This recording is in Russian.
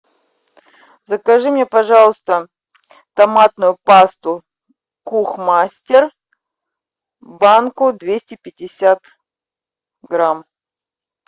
закажи мне пожалуйста томатную пасту кухмастер банку двести пятьдесят грамм